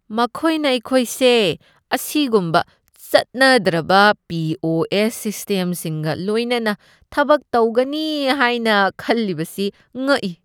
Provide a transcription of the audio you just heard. ꯃꯈꯣꯏꯅ ꯑꯩꯈꯣꯏꯁꯦ ꯑꯁꯤꯒꯨꯝꯕ ꯆꯠꯅꯗ꯭ꯔꯕ ꯄꯤ. ꯑꯣ. ꯑꯦꯁ. ꯁꯤꯁꯇꯦꯝꯁꯤꯡꯒ ꯂꯣꯏꯅꯅ ꯊꯕꯛ ꯇꯧꯒꯅꯤ ꯍꯥꯏꯅ ꯈꯜꯂꯤꯕꯁꯤ ꯉꯛꯏ꯫